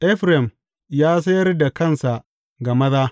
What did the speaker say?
Efraim ya sayar da kansa ga maza.